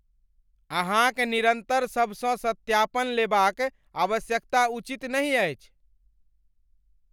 अहाँक निरन्तर सभसँ सत्यापन लेबाक आवश्यकता उचित नहि अछि।